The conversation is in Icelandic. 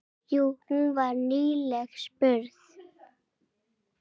Jú, hún var nýlega spurð.